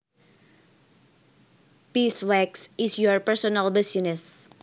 Beeswax is your personal business